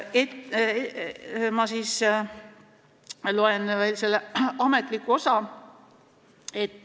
Ma loen veel ette ametliku osa.